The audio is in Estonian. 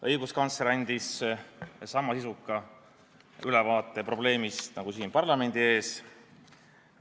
Õiguskantsler andis probleemi kohta sama sisuka ülevaate nagu täna siin parlamendi ees.